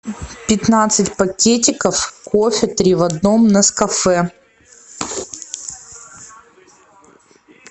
пятнадцать пакетиков кофе три в одном нескафе